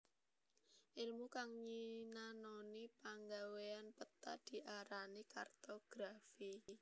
Èlmu kang nyinanoni panggawéyan peta diarani kartografi